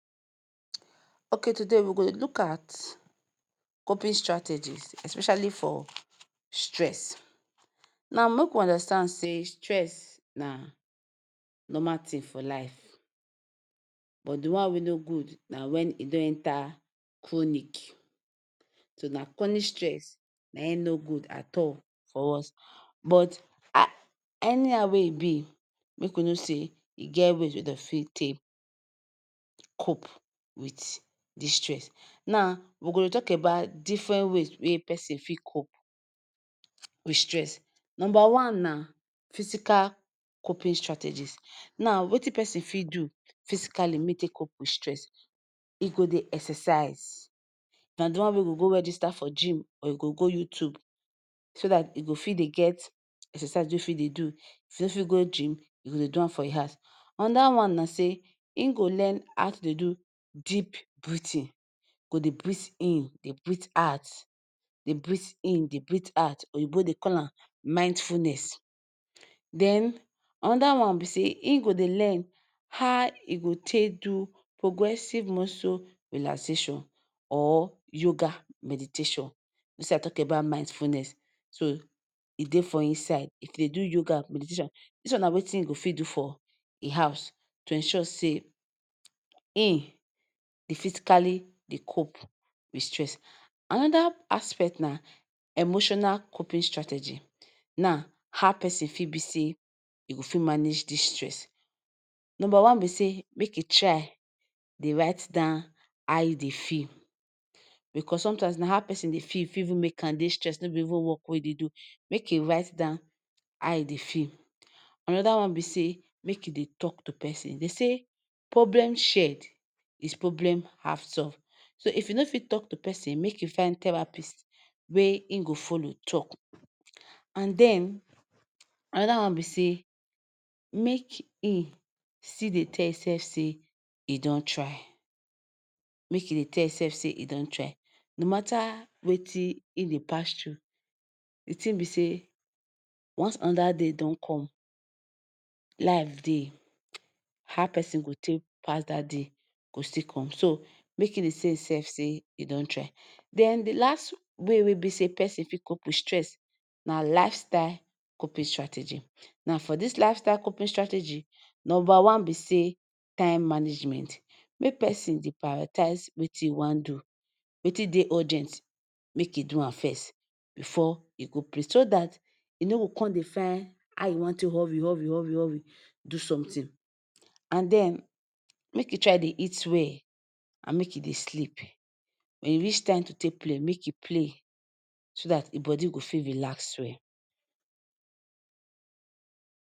Okay today we go dey look at corprate strategies especially for stress. Now make we understand say stress na normal tin for life but di one wey no good na di one wey don enta chronic. So na chronic stress na im no good at all for us. But anyhow wey e be make we know say e get way wey dem fit take cope wit dis stress. Now we go dey tok about diffren ways wey pesin fit cope wit stress. Numba one na physical coping strategies. Now wetin pesin fit do physically make im take cope wit stress. E go dey exercise na di one wey you go go register for gym or you go go youtube so dat you go fit dey get exercise wey you fit dey do. If you no fit go gym you go dey do am for your house. Anoda one na say im go learn how to dey do deep breathing. E go dey breathe in dey breathe out dey breathe in dey breathe out. Oyinbo dey call am mindfulness. Den anoda one be say im go dey learn how im go take do progressive muscle relaxation or yoga meditation. Dis one tok about mindfulness so e dey for inside. If you dey do yoga meditation dis one na wetin you go fit do for im house to ensure say im dey physically dey cope wit stress. Anoda aspect na emotional coping strategies. Now how pesin fit be say e go fit manage dis stress. Numba one be say make you try dey write down how you dey feel bicos somtime na how pesin dey feel go fit make am dey stress, no be even wok wey im dey do. Make im write down how im dey feel. Anoda one be say make im dey tok to pesin. Dem say problem shared is problem half solved. So if you no fit tok to pesin make you find therapist wey im go follow tok. And den anoda one be say make im still dey tell imsef say e don try. Make im dey tell imsef say e don try no mata wetin im dey pass through. Di tin be say once anoda day don come. Life dey. How pesin go take pass dat day go still come so make pesin dey tell imsef say im don try. Den di last way wey be say pesin fit cope wit stress na lifestyle coping strategies. Now For dis lifestyle coping strategy, numba one be say time management. Make pesin dey priotize wetin im wan do, wetin dey urgent make im do am first bifor e go so dat im no go come dey find how im wan take dey hurry hurry hurry hurry do somtin. And den make im try dey eat well and make im dey sleep. And wen e reach time to take play make im play so dat im body go fit relax well.